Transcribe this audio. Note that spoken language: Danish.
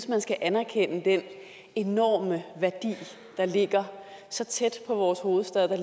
man skal anerkende den enorme værdi der ligger så tæt på vores hovedstad